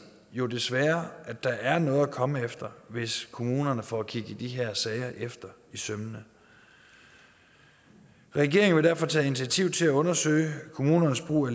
jo desværre at der er noget at komme efter hvis kommunerne får kigget de her sager efter i sømmene regeringen vil derfor tage initiativ til at undersøge kommunernes brug af